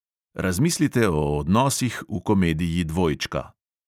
Razmislite o odnosih v komediji dvojčka.